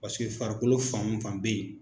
Pasike farikolo fan o fan bɛ ye